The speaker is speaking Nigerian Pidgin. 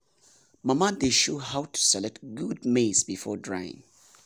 mama dey show how to select good maize before drying.